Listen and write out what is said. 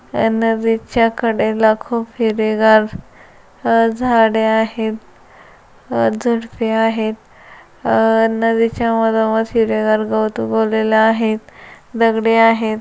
ये नदीच्या कडेला खुप हिरवीगार अह झाडे आहेत अह झुडपे आहेत अह नदीच्या मधोमध हिरवेगार गावात उगवलेले आहेत दगडे आहेत.